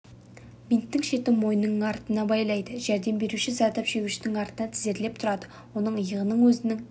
бинттің шетін мойнының артынан байлайды жәрдем беруші зардап шегушінің артынан тізерлеп тұрады оның иығынан өзінің